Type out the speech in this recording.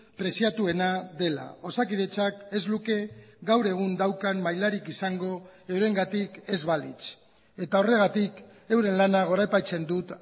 preziatuena dela osakidetzak ez luke gaur egun daukan mailarik izango eurengatik ez balitz eta horregatik euren lana goraipatzen dut